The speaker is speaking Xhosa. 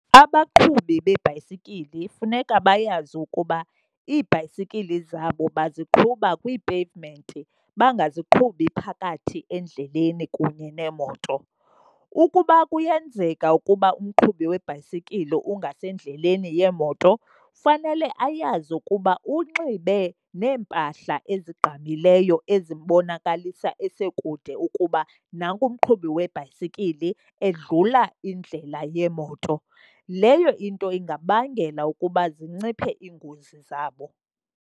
Abaqhubi beebhayisikili funeka bayazi ukuba iibhayisikili zabo baziqhuba kwii-pavement, bangaziqhubi phakathi endleleni kunye neemoto. Ukuba kuyenzeka ukuba umqhubi webhayisikili ungasendleleni yemoto fanele ayazi ukuba unxibe neempahla ezigqamileyo ezimbonakalisa esekude ukuba nanku umqhubi webhayisikili edlula iindlela yeemoto. Leyo into ingabangela ukuba zinciphe iingozi zabo.